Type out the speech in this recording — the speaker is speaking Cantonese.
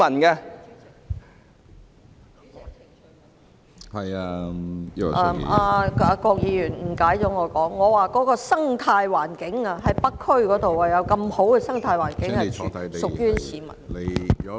主席，郭議員誤解了我的意思，我剛才指北區有如此良好的生態環境，全是屬於市民的。